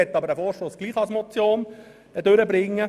Ich möchte den Vorstoss trotzdem als Motion durchbringen.